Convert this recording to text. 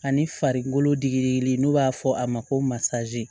Ani farikolo digili n'u b'a fɔ a ma ko masa